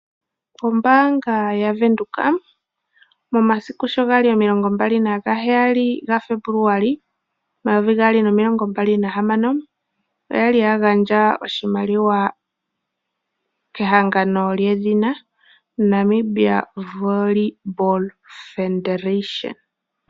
Ombaanga yaVenduka momasiku sho ga li 27 Febuluali 2026 oya gandja oshimaliwa kehangano lyedhina Namibia Volleyball Federation.